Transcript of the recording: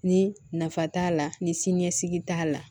Ni nafa t'a la ni siniɲɛsigi t'a la